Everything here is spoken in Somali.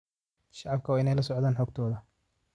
Shacabku waa inay la socdaan xogtooda.